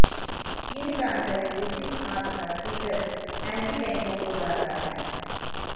यह जानकारी रूसी इतिहासकार पीटर एं्तीपेंको ओर जाता है